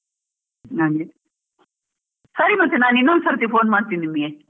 ಹಾಗೆ, ಸರಿ ಮತ್ತೆ ನಾನ್ ಇನ್ನೊಂದ್ ಸರ್ತಿ phone ಮಾಡ್ತೀನಿ ನಿಮ್ಗೆ.